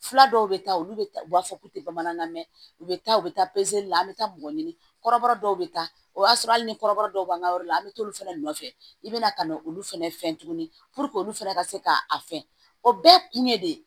Fila dɔw bɛ taa olu bɛ taa u b'a fɔ k'u tɛ bamanankan mɛn u bɛ taa u bɛ taa la an bɛ taa mɔgɔ ɲini kɔrɔbɔrɔ dɔw bɛ taa o y'a sɔrɔ hali ni kɔrɔbɔrɔ dɔw b'an ka yɔrɔ la an bɛ taa olu fɛnɛ nɔfɛ i bɛ na ka na olu fɛnɛ fɛ tuguni olu fana ka se ka a fɛn o bɛɛ ye kun ye de